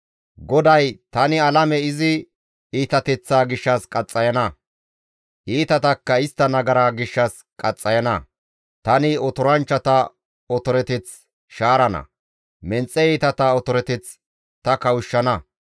GODAY, «Tani alame izi iitateththaa gishshas qaxxayana; iitatakka istta nagara gishshas qaxxayana. Tani otoranchchata otoreteth shaarana; menxe iitata otoreteth ta kawushshana.